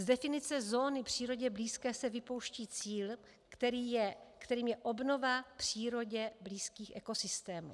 Z definice zóny přírodě blízké se vypouští cíl, kterým je obnova přírodě blízkých ekosystémů.